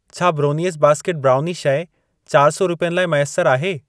छा brownies basket brownie शइ चरि सौ रुपियनि लाइ मैसर आहे?